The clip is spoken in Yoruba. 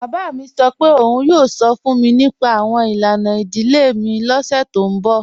Baba mi sọ́ pẹ̀ ọ̀un yoo sọ́ fun mi nípa awọn ilana idílé ni ọ̀ṣẹ̀ ti n bọ́.